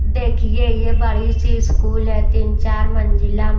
देखिए ये बड़ी सी स्कूल है तीन चार मंजिला।